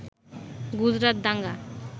গুজরাট দাঙ্গা